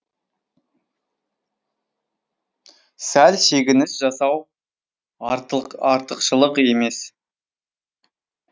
сәл шегініс жасау артықшылық емес